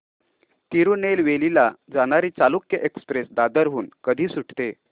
तिरूनेलवेली ला जाणारी चालुक्य एक्सप्रेस दादर हून कधी सुटते